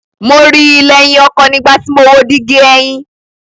Mo ri i lẹhin ọkọ nigbati mo wo digi ẹhin